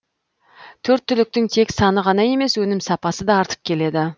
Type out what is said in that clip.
төрт түліктің тек саны ғана емес өнім сапасы да артып келеді